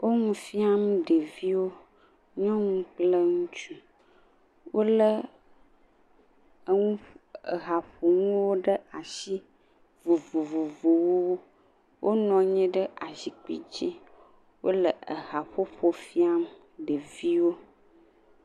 Wo nu fiam ɖeviwo. Nyɔnu kple ŋutsu. Wolé, eŋu, haƒonuwo ɖe ashi. Ha vovovowo, wonɔ anyi ɖe azikpi dzi. Wole ehaƒoƒo fiam ɖeviwo.